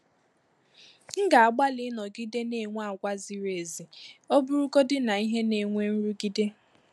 M ga-agbalị ịnọgide na-enwe àgwà ziri ezi, ọ bụrụgodị na ihe na-enwe nrụgide.